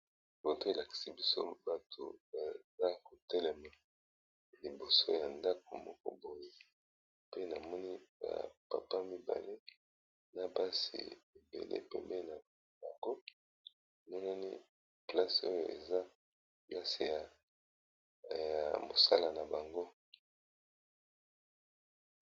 Foto oyo elakisi biso batu batelemi liboso ya ndako pe namoni ba papa mibale na basi ebele batelemi place ya musala na bango.